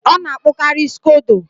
Ọ na-akpụkari scodo